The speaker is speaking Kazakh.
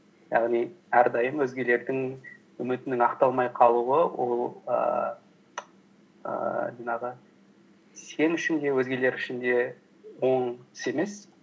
яғни әрдайым өзгелердің үмітінің ақталмай қалуы ол ііі жаңағы сен үшін де өзгелер үшін де оң іс емес